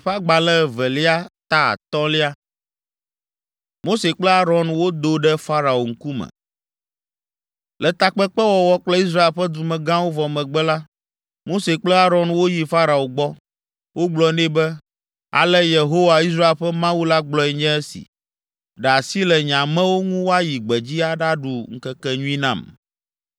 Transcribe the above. Le takpekpe wɔwɔ kple Israel ƒe dumegãwo vɔ megbe la, Mose kple Aron woyi Farao gbɔ. Wogblɔ nɛ be, “Ale Yehowa, Israel ƒe Mawu la gblɔe nye esi: ‘Ɖe asi le nye amewo ŋu woayi gbedzi aɖaɖu ŋkekenyui nam.’ ”